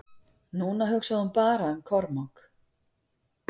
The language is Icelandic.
Núna hugsaði hún bara um Kormák.